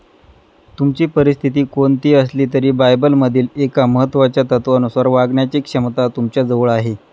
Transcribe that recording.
तुमची परिस्थिती कोणती असली तरी बायबलमधील एका महत्त्वाच्या तत्त्वानुसार वागण्याची क्षमता तुमच्याजवळ आहे.